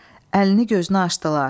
Əlini gözünə açdılar.